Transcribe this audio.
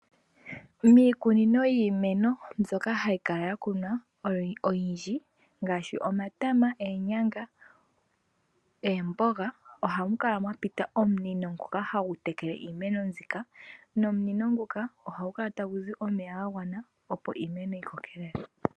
Miikunino yiimeno mbyoka hayi kala ya kunwa oyindji ngaashi omatama, oonyanga, oomboga, ohamu kala mwa pita omunino ngoka hagu tekele iimeno mbika. Nomunino nguka ohagu kala tagu zi omeya ga gwana, opo iimeno yi kokelele.